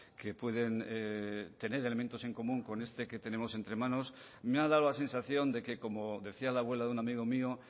que pueden tener elementos en común con este que tenemos entre manos me ha dado la sensación de que como decía la abuela de un amigo mío